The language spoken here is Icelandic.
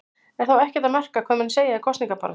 Er þá ekkert að marka hvað menn segja í kosningabaráttu?